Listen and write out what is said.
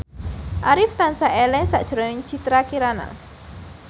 Arif tansah eling sakjroning Citra Kirana